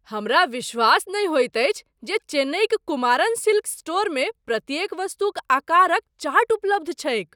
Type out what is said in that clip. हमरा विश्वास नहि होइत अछि जे चेन्नईक कुमारन सिल्क्स स्टोरमे प्रत्येक वस्तुक आकारक चार्ट उपलब्ध छैक ।